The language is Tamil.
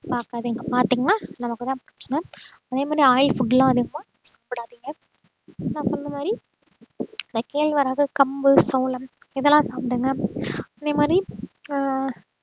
பாக்காதீங்க பாத்தீங்கன்னா நமக்குதான் பிரச்சனை அதே மாதிரி oil food எல்லாம் அதிகமா சாப்பிடாதீங்க நான் சொன்ன மாதிரி இந்த கேழ்வரகு, கம்பு சோளம், இதெல்லாம் சாப்பிடுங்க அதே மாதிரி ஆஹ்